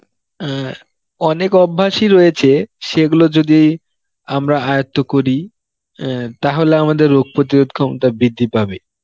অ্যাঁ অনেক অভ্যাসই রয়েছে, সেগুলো যদি আমরা আয়ত্ত করি অ্যাঁ তাহলে আমাদের রোগ প্রতিরোধ ক্ষমতা বৃদ্ধি পাবে